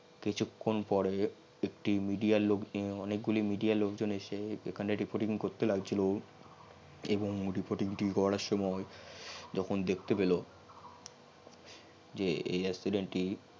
কিছুখন পরেই একটি media লোক অনেকগুলি media এর লোক জন এসে এখানে reporting করতে লাগছিল এবং reporting টি করার সমই যখন দেখতে পেল